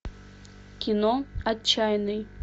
кино отчаянный